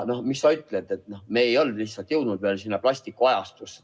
No mis sa ütled, me ei olnud lihtsalt veel jõudnud plastikuajastusse.